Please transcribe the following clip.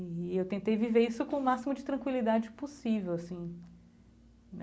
E eu tentei viver isso com o máximo de tranquilidade possível, assim.